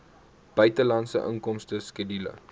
buitelandse inkomste skedule